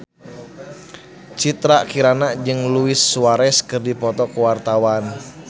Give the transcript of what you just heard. Citra Kirana jeung Luis Suarez keur dipoto ku wartawan